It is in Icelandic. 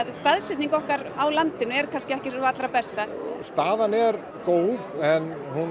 staðsetningin okkar á landinu er ekki sú besta staðan er góð en